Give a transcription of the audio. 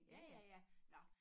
Ja ja ja nå